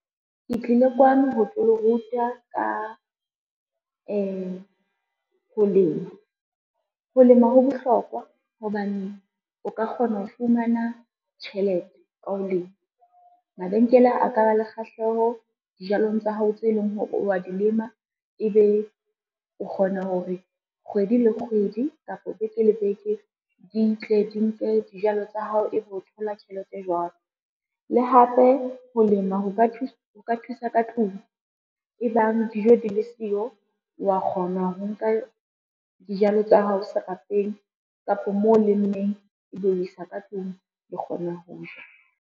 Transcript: Ke tlile kwano ho tlo le ruta ka ho lema. Ho lema ho bohlokwa hobane o ka kgona ho fumana tjhelete ka ho lema. Mabenkele a ka ba le kgahleho dijalong tsa hao tse leng hore wa di lema, e be o kgona hore kgwedi le kgwedi kapo beke le beke di tle di nke dijalo tsa hao, e be o thola tjhelete jwalo. Le hape ho lema ho ka thusa ka tlung e bang dijo di le siyo wa kgona ho nka dijalo tsa hao serapeng kapa moo o lemmeng ebe o isa ka tlung le kgona ho ja.